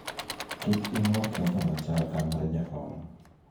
kik inuo ketho machal ka mar jakom